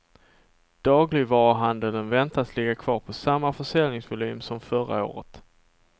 Dagligvaruhandeln väntas ligga kvar på samma försäljningsvolym som förra året.